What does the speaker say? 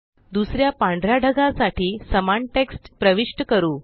दुसऱ्या पांढऱ्या ढगासाठी समान टेक्स्ट प्रविष्ट करू